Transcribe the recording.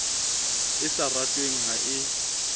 e sa ratweng ha ke